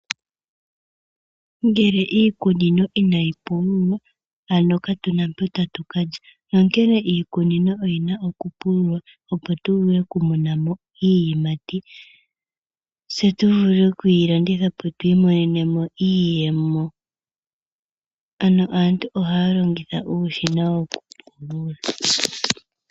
Ngele iikunino inayi pululwa ano katuna mpo tatukalya , onkene iikunino oyina okupululwa opo tuvule okumonamo iiyimati. Ohayi vulu okulandithwa po twiimonenemo iiyemo .